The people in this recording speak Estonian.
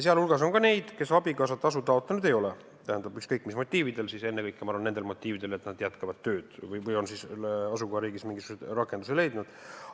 Sealhulgas on ka neid, kes abikaasatasu taotlenud ei ole, ükskõik mis motiividel, ennekõike, ma arvan, nendel motiividel, et nad jätkavad tööd või on asukohariigis mingisuguse rakenduse leidnud.